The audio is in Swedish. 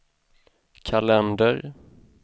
kalender